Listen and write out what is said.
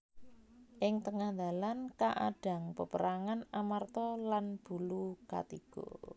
Ing tengah dalan kaadhang peperangan Amarta lan Bulukatiga